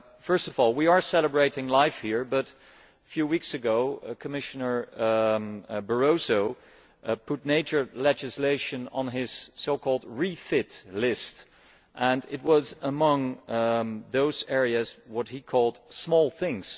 First of all, we are celebrating LIFE here, but a few weeks ago Commissioner Barroso put nature legislation on his REFIT list, and it was among those areas of what he called small things'.